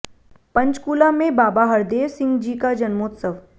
पंचकूला में बाबा हरदेव सिंह जी का जन्मोत्सव